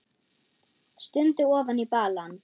Stundi ofan í balann.